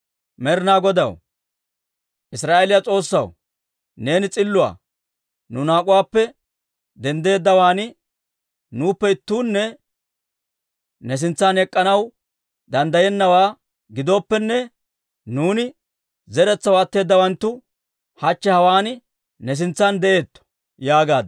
Med'ina Godaw, Israa'eeliyaa S'oossaw, neeni s'illuwaa. Nu naak'uwaappe denddeeddawaan nuuppe ittuunne ne sintsan ek'k'anaw danddayennawaa giddooppene, nuuni zeretsaw atteedawanttu hachche hawaan ne sintsan de'eetto» yaagaad.